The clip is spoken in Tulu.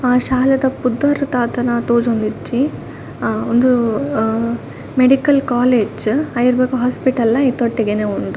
ಆ ಶಾಲೆದ ಪುದರ್ ದಾದನ ತೋಜೊಂದಿಜ್ಜಿ ಅ ಉಂದೂ ಅಹ್ ಮೆಡಿಕಲ್ ಕಾಲೇಜ್ ಐರ್ದ ಬೊಕ್ಕ ಹಾಸ್ಪಿಟಲ್ ಲ ಐತ ಒಟ್ಟಿಗೆನೆ ಉಂಡು.